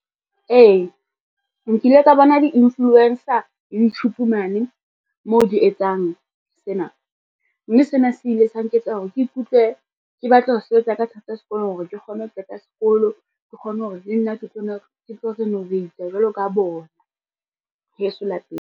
Ee, nkile ka bona di-influencer Youtube mane mo di etsang sena, mme sena se ile sa nketsa hore ke ikutlwe ke batla ho sebetsa ka thata sekolong hore ke kgone ho qeta sekolo, ke kgone hore le nna ke tlo renovate-a jwalo ka bona, heso lapeng.